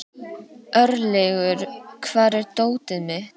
Örlygur, hvar er dótið mitt?